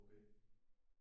Okay